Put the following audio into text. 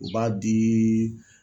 U b'a di